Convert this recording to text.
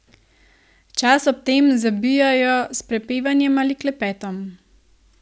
Čas ob tem zabijajo s prepevanjem ali klepetom.